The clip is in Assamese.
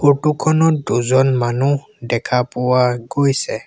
ফটো খনত দুজন মানুহ দেখা পোৱা গৈছে।